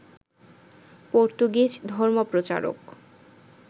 Portuguese ধর্মপ্রচারক